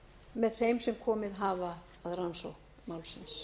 með þeim sem komið hafa að rannsókn málsins